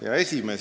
Hea esimees!